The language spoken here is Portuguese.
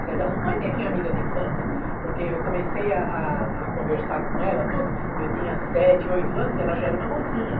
Quer dizer, ela não foi bem minha amiga de infância, porque eu comecei a a a conversar com ela, tudo, eu tinha sete, oito anos, ela já era uma mocinha.